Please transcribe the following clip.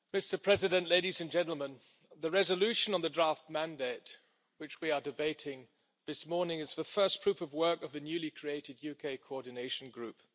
Mr President, ladies and gentlemen, the resolution on the draft mandate, which we are debating this morning, is the first proof of work of the newly created UK Coordination Group.